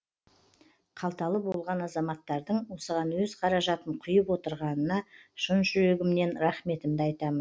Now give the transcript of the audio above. қалталы болған азаматтардың осыған өз қаражатын құйып отырғанына шын жүрегімнен рахметімді айтамын